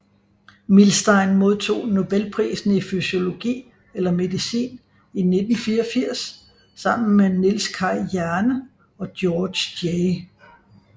Milstein modtog nobelprisen i fysiologi eller medicin i 1984 sammen med Niels Kaj Jerne og Georges J